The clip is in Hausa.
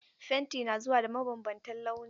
Fenti na zuwa da mabambantan launi.